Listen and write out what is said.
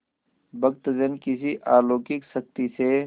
भक्तजन किसी अलौकिक शक्ति से